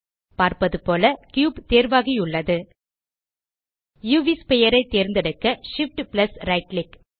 பார்ப்பது போல கியூப் தேர்வாகியுள்ளது உவ் ஸ்பீர் ஐ தேர்ந்தெடுக்க Shift பிளஸ் ரைட் கிளிக்